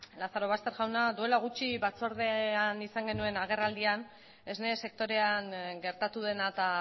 lazarobaster jauna duela gutxi batzordean izan genuen agerraldian esne sektorean gertatu dena eta